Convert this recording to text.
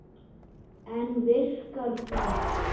En virkar það?